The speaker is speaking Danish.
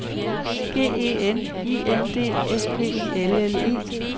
G E N I N D S P I L L E